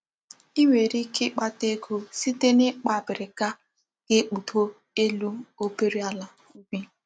I nwere ike ikpata ego site n'ikpa abirika ga-ekpudo elu obere ala ubi.